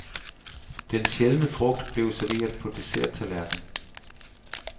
Den sjældne frugt blev serveret på desserttallerken.